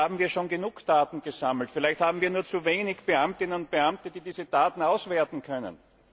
Vielleicht haben wir schon genug Daten gesammelt, vielleicht haben wir nur zu wenige Beamtinnen und Beamte, die diese Daten auswerten können.